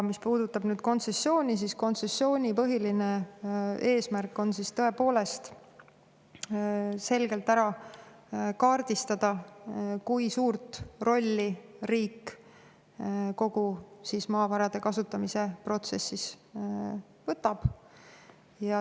Mis puudutab kontsessiooni, siis kontsessiooni põhiline eesmärk on tõepoolest selgelt kaardistada, kui suure rolli riik kogu maavarade kasutamise protsessis võtab.